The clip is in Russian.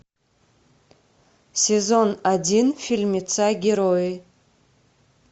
сезон один фильмеца герои